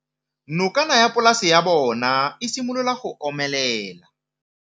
Nokana ya polase ya bona, e simolola go omelela.